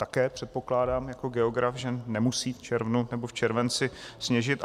Také předpokládám jako geograf, že nemusí v červnu nebo v červenci sněžit.